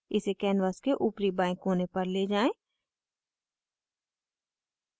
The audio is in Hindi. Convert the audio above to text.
इसे canvas के ऊपरी बाएं कोने पर ले जाएँ